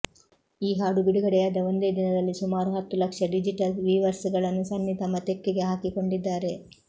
ಈ ಹಾಡು ಬಿಡುಗಡೆಯಾದ ಒಂದೇ ದಿನದಲ್ಲಿ ಸುಮಾರು ಹತ್ತು ಲಕ್ಷ ಡಿಜಿಟಲ್ ವೀವರ್ಸ ಗಳನ್ನು ಸನ್ನಿ ತಮ್ಮ ತೆಕ್ಕೆಗೆ ಹಾಕಿಕೊಂಡಿದ್ದಾರೆ